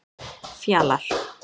Fjalar